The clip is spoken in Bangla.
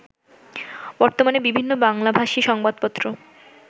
বর্তমানে বিভিন্ন বাংলাভাষী সংবাদপত্র